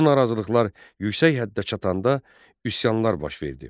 Bu narazılıqlar yüksək həddə çatanda üsyanlar baş verdi.